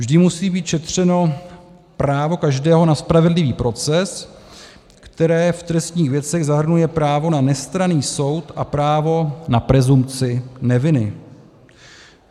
Vždy musí být šetřeno právo každého na spravedlivý proces, které v trestních věcech zahrnuje právo na nestranný soud a právo na presumpci neviny.